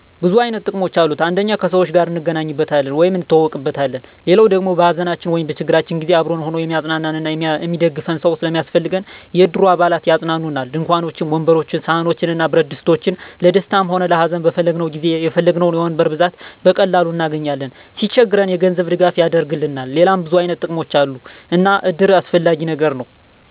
ብዙ አይነት ጥቅሞች አሉት አንደኛ ከሰዎች ጋር እንገናኝበታለን ወይም እንተዋወቅበታለን። ሌላዉ ደሞ በሀዘናችን ወይም በችግራችን ጊዜ አብሮን ሁኖ እሚያፅናናን እና እሚደግፈን ሰዉ ስለሚያስፈልገን የእድሩ አባላት ያፅናኑናል፣ ድንኳኖችን፣ ወንበሮችን፣ ሰሀኖችን እና ብረትድስቶችን ለደስታም ሆነ ለሀዘን በፈለግነዉ ጊዜ የፈለግነዉን የወንበር ብዛት በቀላሉ እናገኛለን። ሲቸግረን የገንዘብ ድጋፍ ያደርግልናል ሌላም ብዙ አይነት ጥቅሞች አሉ እና እድር አስፈላጊ ነገር ነዉ።